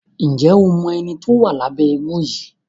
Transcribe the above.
Njé o mọ ẹní tó wá Lábé éégun yí?